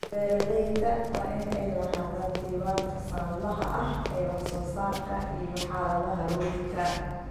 Beeralayda waa inay lahaadaan diiwaanka sanadlaha ah ee wax soo saarka iyo xaaladda rugta.